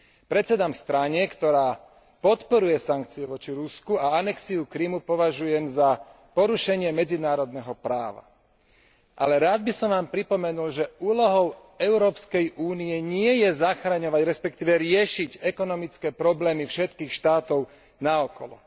Predsedám strane, ktorá podporuje sankcie voči Rusku a anexiu Krymu považujem za porušenie medzinárodného práva. Ale rád by som vám pripomenul, že úlohou EÚ nie je zachraňovať, respektíve riešiť ekonomické problémy všetkých štátov naokolo.